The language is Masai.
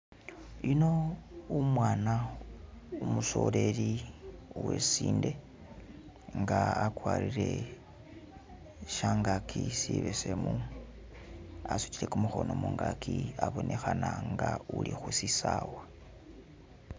yuno umwana umusoleri, uwesinde nga akwalire shyangaki sibesemu, asutile kumuhono mungaki, abonehana nga uli husisawa